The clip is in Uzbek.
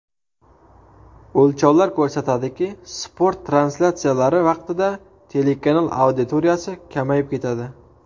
O‘lchovlar ko‘rsatdiki, sport translyatsiyalari vaqtida telekanal auditoriyasi kamayib ketadi.